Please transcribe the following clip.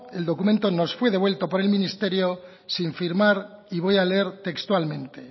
el documento nos fue devuelto por el ministerio sin firmar y voy a leer textualmente